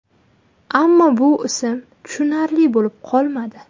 Ammo bu ism tushunarli bo‘lib qolmadi.